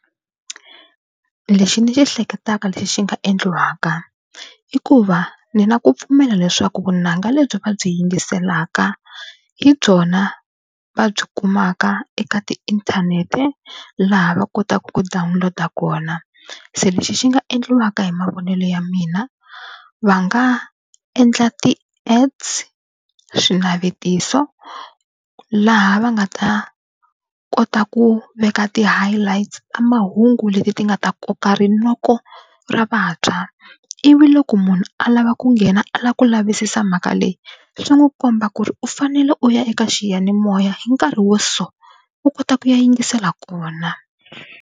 Lexi ni xi hleketaka lexi xi nga endliwaka i ku va ni na ku pfumela leswaku vunanga lebyi va byi yingiselaka hi byona va byi kumaka eka tiinthanete laha va kotaka ku download-a kona. Se lexi xi nga endliwaka hi mavonelo ya mina va nga endla ti-ads, swinavetiso laha va nga ta kota ku veka ti-highlights ka mahungu leswi leti ti nga ta koka rinoko ra vantshwa ivi loko munhu a lava ku nghena a lava ku lavisisa mhaka leyi swi n'wi komba ku ri u fanele u ya eka xiyanimoya hi nkarhi wo so u kota ku ya yingisela kona.